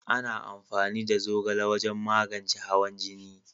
Ana amfani da zogale wajen magance hawan jini